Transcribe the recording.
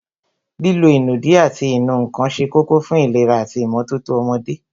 Lílo ìnùdí ati ìnù ǹkan se kókó fún ìlera ati ìmótótó ọmọdé